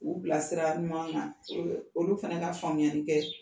K'u bila sira ɲuman kan olu fana ka faamuyali kɛ.